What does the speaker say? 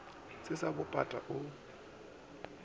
se sa bo pata o